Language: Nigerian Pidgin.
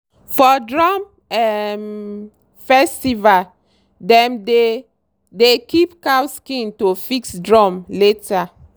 for drum um festival dem dey dey keep cow skin to fix drum later.